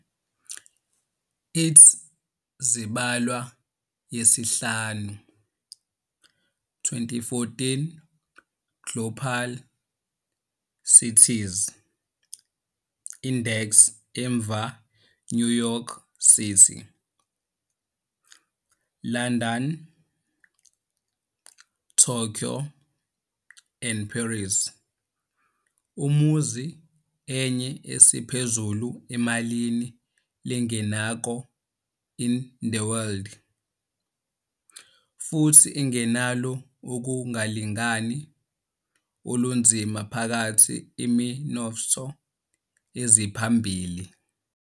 It zibalwa yesihlanu 2014 Global Cities Index emva New York City, London, Tokyo and Paris. Umuzi enye esiphezulu emalini lengenako in the world, futhi engenayo ukungalingani olunzima phakathi iminotfo eziphambili.